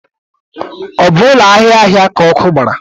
Ọ bụ ụlọ ahịa ahịa ka ọkụ gbara?